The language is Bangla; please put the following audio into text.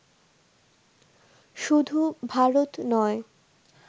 শুধু ভারত নয়